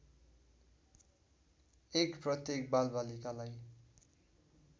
१ प्रत्येक बालबालिकालाई